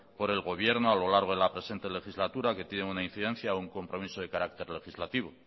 por el gobierno a lo largo de la presente legislatura que tiene una incidencia o un compromiso de carácter legislativo